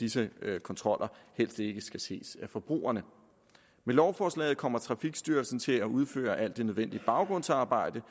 disse kontroller helst ikke skal ses af forbrugerne med lovforslaget kommer trafikstyrelsen til at udføre alt det nødvendige baggrundsarbejde